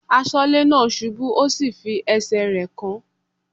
Aṣọ́lẹ́ náà ṣubú ó sì fi ẹsẹ̀ rẹ̀ kán.